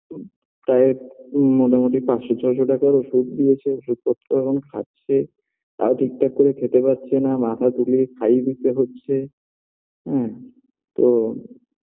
তাও এক মোটামুটি পাঁচশ ছয়শ টাকার ওষুধ দিয়েছে ওষুধ পত্র এখন খাচ্ছে তাও ঠিকঠাক করে খেতে পারছে না মাথা তুলে খাইয়ে দিতে হচ্ছে হ্যাঁ তো